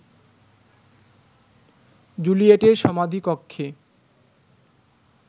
জুলিয়েটের সমাধিকক্ষে